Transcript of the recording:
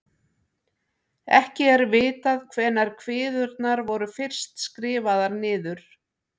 Ekki er vitað hvenær kviðurnar voru fyrst skrifaðar niður.